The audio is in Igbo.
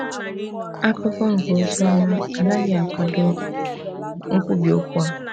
Akụkọ nke Oziọma anaghị akwado nkwubi okwu a.